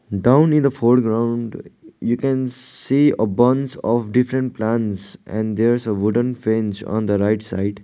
down in the foreground you can see a bunch of different plants and there's a wooden fence on the right side.